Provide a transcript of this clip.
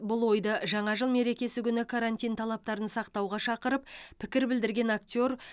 бұл ойды жаңа жыл мерекесі күні карантин талаптарын сақтауға шақырып пікір білдірген актер